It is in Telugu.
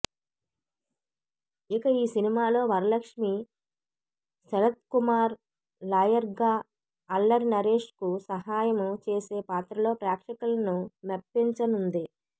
ఇక ఈ సినిమాలో వరలక్ష్మీ శరత్కుమార్ లాయర్గా అల్లరి నరేష్కు సహాయం చేసే పాత్రలో ప్రేక్షకులను మెప్పించనుంది